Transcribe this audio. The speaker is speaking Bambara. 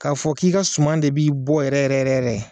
K'a fɔ k'i ka suman de b'i bɔ yɛrɛ yɛrɛ yɛrɛ